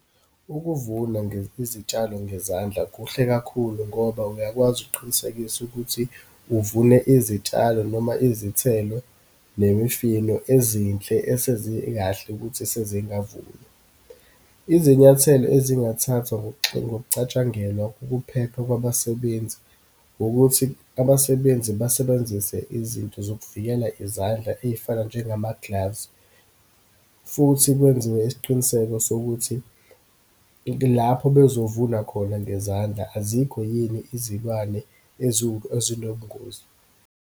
Ukuvuna izitshalo ngezandla kuhle kakhulu, ngoba uyakwazi ukuqinisekisa ukuthi uvune izitshalo noma izithelo nemifino ezinhle esezikahle ukuthi sezingavunwa. Izinyathelo ezingathathwa ngokucatshangelwa kokuphepha kwabasebenzi, wukuthi abasebenzi basebenzise izinto zokuvikela izandla, eyifana njengama-gloves. Futhi kwenziwe isiqiniseko sokuthi lapho bezovuna khona ngezandla, azikho yini izilwane ezinobungozi.